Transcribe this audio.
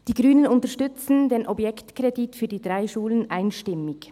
Die Grünen unterstützen den Objektkredit für die drei Schulen einstimmig.